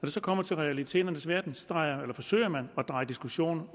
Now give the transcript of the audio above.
det kommer til realiteternes verden forsøger man at dreje diskussionen